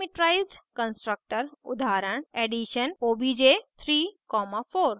parameterized constructor उदाहरण addition obj 34;